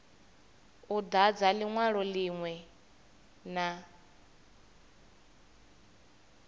u dadza linwalo linwe na